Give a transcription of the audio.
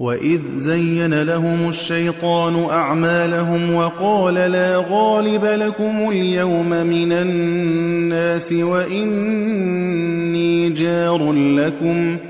وَإِذْ زَيَّنَ لَهُمُ الشَّيْطَانُ أَعْمَالَهُمْ وَقَالَ لَا غَالِبَ لَكُمُ الْيَوْمَ مِنَ النَّاسِ وَإِنِّي جَارٌ لَّكُمْ ۖ